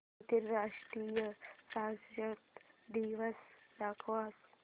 आंतरराष्ट्रीय साक्षरता दिवस दाखवच